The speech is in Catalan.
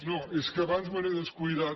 no és que abans me n’he descuidat